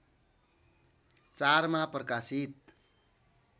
४ मा प्रकाशित